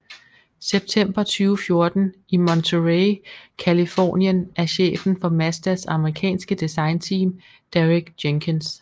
September 2014 i Monterey Californien af chefen for Mazdas amerikanske designteam Derek Jenkins